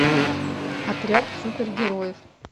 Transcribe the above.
отряд супергероев